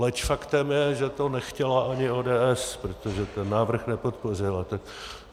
Leč faktem je, že to nechtěla ani ODS, protože ten návrh nepodpořila.